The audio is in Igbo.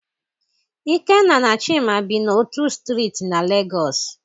Ikenna na Chima bi n'otu Striiti na Lagos.